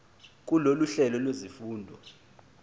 kulolu hlelo lwezifundo